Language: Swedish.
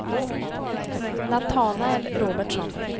Natanael Robertsson